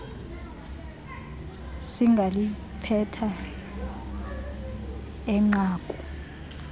singaliphetha eh nqaku